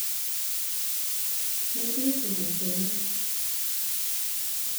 mũirĩtu mũkeni